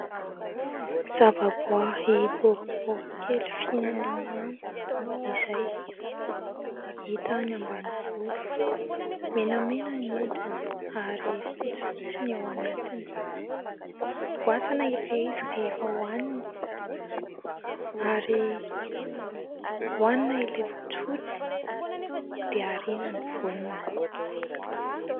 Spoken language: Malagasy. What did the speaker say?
zavaboaary boribory kely fihinana mamy izay hita any ambanivolo, menamena ny hodiny ary fotsifotsy ny ao anatiny. Voasana ilay izy rehefa hohanina ary hanina ilay fotsifotsy dia ariana ny voany.